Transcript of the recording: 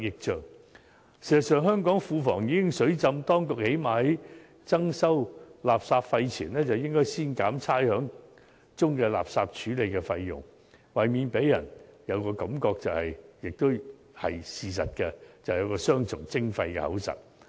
事實上，香港庫房已"水浸"，當局在增收垃圾費前，最少應先減去差餉中垃圾處理的費用，以免令人感到——這也是事實——政府是雙重徵費。